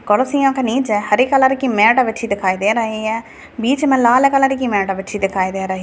कुर्सियों के नीचे हरी कलर की मैट बिछी दिखाई दे रही है बीच में लाल कलर की मैट बिछी दिखाई दे रही --